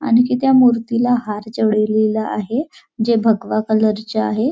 आणखी त्या मूर्तीला हार चडवलेला आहे जे भगवा कलरचा आहे.